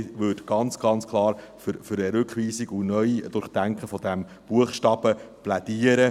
Ich würde ganz klar für eine Rückweisung und ein Neu-Durchdenken dieses Buchstabens plädieren.